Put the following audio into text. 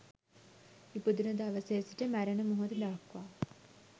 ඉපදුන දවසේ සිට මැරෙන මොහොත දක්වා